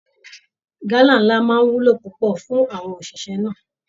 Gálà ńlá máa wúlò púpọ̀ fún àwọn òṣìṣẹ́ náà